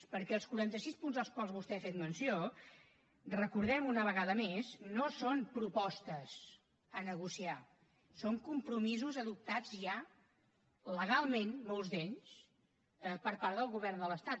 perquè els quaranta sis punts dels quals vostè ha fet menció recordem ho una vegada més no són propostes a negociar són compromisos adoptats ja legalment molts d’ells per part del govern de l’estat